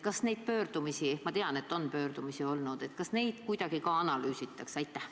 Kas neid pöördumisi – ma tean, et pöördumisi on olnud – kuidagi ka analüüsitakse?